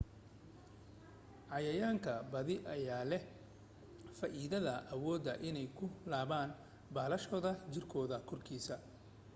cayayaanka badi ayaa leh faa'idada awooda inay ku laaban baalashooda jirkooda korkiisa